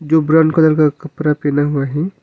जो brown colour का कपड़ा पहना हुआ है।